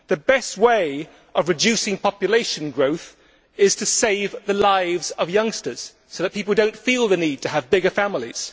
The best way of reducing population growth is to save the lives of youngsters, so that people do not feel the need to have bigger families.